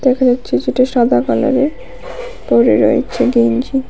দেখা যাচ্ছে যেটা সাদা কালারের পরে রয়েছে গেঞ্জি।